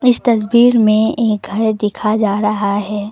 इस तस्वीर में एक घर दिखा जा रहा है।